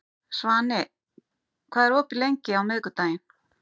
Svani, hvað er opið lengi á miðvikudaginn?